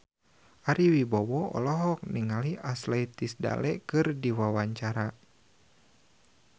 Ari Wibowo olohok ningali Ashley Tisdale keur diwawancara